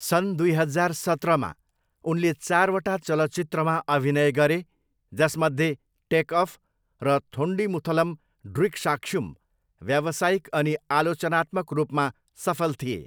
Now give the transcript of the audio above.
सन् दुई हजार सत्रमा, उनले चारवटा चलचित्रमा अभिनय गरे, जसमध्ये टेक अफ र थोन्डिमुथलम ड्रिकसाक्ष्युम व्यावसायिक अनि आलोचनात्मक रूपमा सफल थिए।